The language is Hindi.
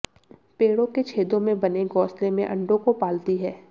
पेड़ों के छेदों में बने घोंसले में अंडों को पालती है